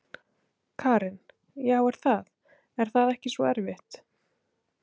Karen: Já er það, er það ekki svo erfitt?